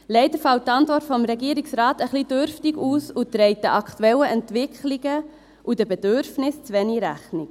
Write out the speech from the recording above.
Leider fällt die Antwort des Regierungsrates ein bisschen dürftig aus und trägt den aktuellen Entwicklungen und Bedürfnissen zu wenig Rechnung.